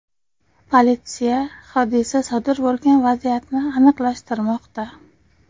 Politsiya hodisa sodir bo‘lgan vaziyatni aniqlashtirmoqda.